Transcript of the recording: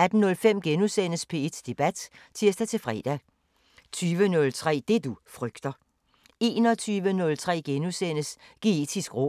18:05: P1 Debat *(tir-fre) 20:03: Det du frygter 21:03: Geetisk råd *